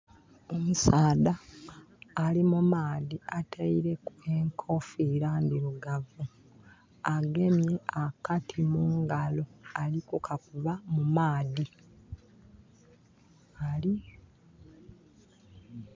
Omusaadha ali mu maadhi ataileku enkoofira ndhirugavu. Agemye akati mungalo ali kukakuba mu maadhi...